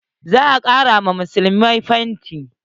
Za a ƙara wa massalaci fenti.